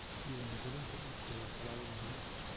Diiwaangelinta dhulku waa tallaabo muhiim ah.